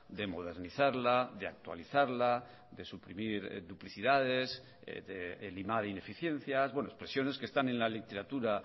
de modernizarla de actualizarla de suprimir duplicidades de limar ineficiencias bueno expresiones que están en la literatura